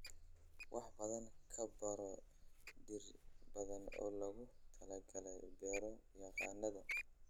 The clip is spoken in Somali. Wax badan ka baro dhir badan oo loogu talagalay beero-yaqaannada